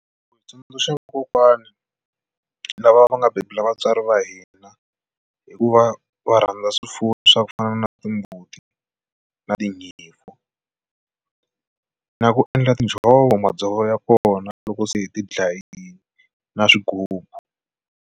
Ku tsundzuxa vakokwani lava va nga bebula vatswari va hina hi ku va va rhandza swifuwo swa ku fana na timbuti na tinyimpfu na ku endla tinjhovo madzovo ya kona loko se hi ti dlayile na swighubu.